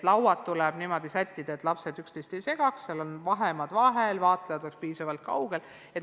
Lauad tuleb sättida niimoodi, et lapsed üksteist ei segaks, laudade vahel oleks piisav vahemaa ja ka vaatlejad oleksid piisavalt kaugel.